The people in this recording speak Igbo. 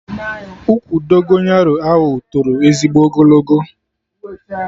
Ụkwụ Dogonyaro ahụ toro ezigbo ogologo